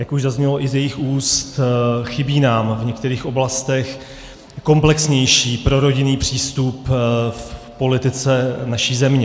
Jak už zaznělo i z jejích úst, chybí nám v některých oblastech komplexnější prorodinný přístup v politice naší země.